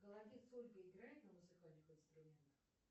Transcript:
голодец ольга играет на музыкальных инструментах